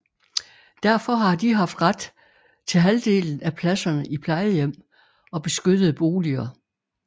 Derfor har de haft ret til halvdelen af pladserne i plejehjem og beskyttede boliger